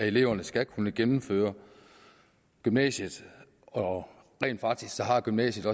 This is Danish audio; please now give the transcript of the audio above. eleverne skal kunne gennemføre gymnasiet og rent faktisk har gymnasiet